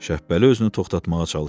Şəhbəli özünü toxtatmağa çalışdı.